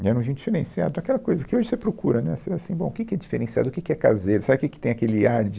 E era um vinho diferenciado, aquela coisa que hoje você procura, né, você assim, bom, que que é diferenciado, o que que é caseiro, sabe, que que tem aquele ar de...